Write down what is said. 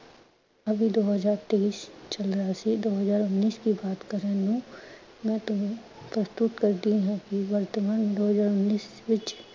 ਅਭੀ ਦੋ ਹਜਾਰ ਤੇਈਸ ਚਲ ਰਿਹਾ ਸੀ, ਦੋ ਹਜਾਰ ਉਨੀਸ ਦੀ ਬਾਤ ਕਰਣ ਨੂੰ ਮੈਂ ਤੁਹਾਨੂੰ ਪ੍ਸਤੁਤ ਕਰਦੀ ਹਾਂ ਕਿ ਵਰਤਮਾਨ ਦੋ ਹਜਾਰ ਉਨੀਸ ਵਿਚ